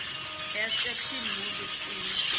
best action movies in